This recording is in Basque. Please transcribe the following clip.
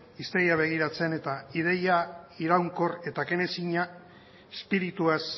hiztegia begiratzen eta ideia iraunkor eta kenezina espirituaz